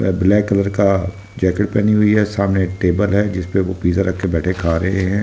वह black colour का jacket पहनी हुई है सामने एक टेबल है जिसपे वो पिज्जा रख के बेठ के खा रहे है ।